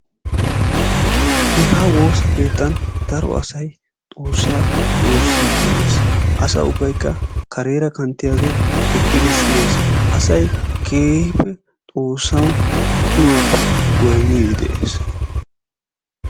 Hegaa woosa keetan daro asay xoossaa woossidi de'ees. Asa ubbaykka kareera kanttiyaagee eqqidi siyees. Asay keehippe xoossawu tumaappe goynniidi de'ees.